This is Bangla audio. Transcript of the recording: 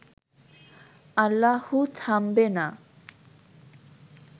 আল্লাহু থামবে না